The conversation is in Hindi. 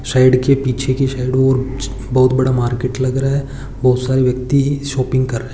साइड के पीछे कि साइड बहुत बड़ा मार्केट लग रहा है और बहुत सारी व्यक्ति शॉपिंग कर रहे हैं।